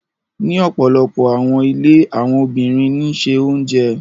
Ni ọpọlọpọ awọn ilé awọn obinrin ní se oúnjẹ.